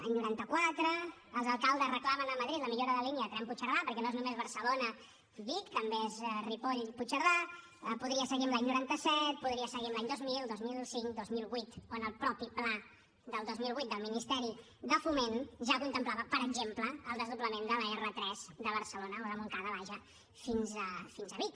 any noranta quatre els alcaldes reclamen a madrid la millora de la línia del tren de puigcerdà perquè no és només barcelona vic també és ripoll puigcerdà podria seguir amb l’any noranta set podria seguir amb l’any dos mil dos mil cinc dos mil vuit on el mateix pla del dos mil vuit del ministeri de foment ja contemplava per exemple el desdoblament de l’r3 de barcelona o de montcada vaja fins a vic